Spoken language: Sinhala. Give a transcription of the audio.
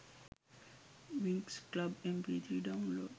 winx club mp3 download